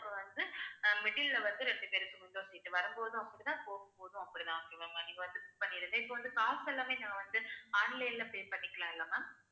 அப்படித்தான் okay வா ma'am நீங்க வந்து book பண்ணிடுங்க இப்ப வந்து காசு எல்லாமே நான் வந்து, online ல pay பண்ணிக்கலாம் இல்ல ma'am